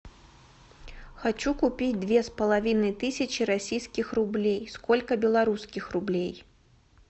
хочу купить две с половиной тысячи российских рублей сколько белорусских рублей